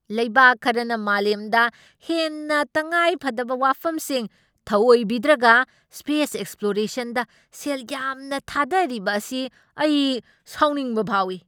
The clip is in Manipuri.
ꯂꯩꯕꯥꯛ ꯈꯔꯅ ꯃꯥꯂꯦꯝꯗ ꯍꯦꯟꯅ ꯇꯉꯥꯏꯐꯗꯕ ꯋꯥꯐꯝꯁꯤꯡ ꯊꯑꯣꯏꯕꯤꯗ꯭ꯔꯒ ꯁ꯭ꯄꯦꯁ ꯑꯦꯛꯁꯄ꯭ꯂꯣꯔꯦꯁꯟꯗ ꯁꯦꯜ ꯌꯥꯝꯅ ꯊꯥꯗꯔꯤꯕ ꯑꯁꯤ ꯑꯩ ꯁꯥꯎꯅꯤꯡꯕ ꯐꯥꯎꯏ꯫